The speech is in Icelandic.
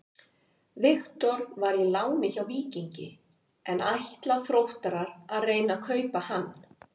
Viktor var í láni frá Víkingi en ætla Þróttarar að reyna að kaupa hann?